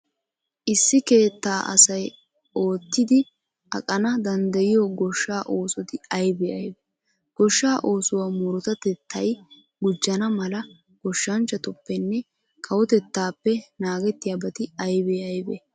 Issi keettaa asay oottidi aqana danddayiyo goshshaa oosoti aybee aybee? Goshshaa oosuwa murutatettay gujjana mala goshshanchchatuppenne kawotettaappe naagettiyabati aybee aybee?